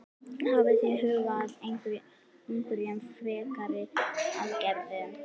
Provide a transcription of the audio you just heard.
Hafið þið hugað að einhverjum frekari aðgerðum?